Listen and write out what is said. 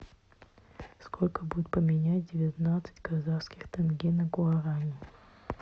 сколько будет поменять девятнадцать казахских тенге на гуарани